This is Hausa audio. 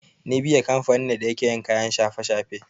Nibiya kamfani ne da yake yin kayan shafe-shafe.